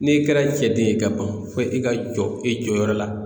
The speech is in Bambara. N'e kɛra cɛden ye ka ban fo i ka jɔ e jɔyɔrɔ la